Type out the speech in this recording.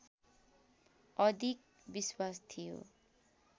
अधिक विश्वास थियो